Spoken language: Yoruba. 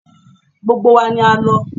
Gbogbo wa ni a lọ.